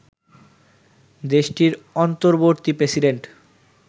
দেশটির অন্তর্বর্তী প্রেসিডেন্ট